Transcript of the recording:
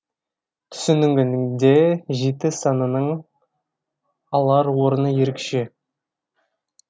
түсінігінде жеті санының алар орны ерекше